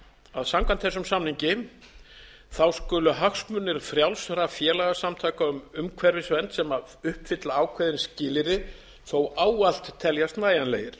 að samkvæmt þessum samningi skulu hagsmunir frjálsra félagasamtaka um umhverfisvernd sem uppfylla ákveðin skilyrði þó ávallt teljast nægjanlegir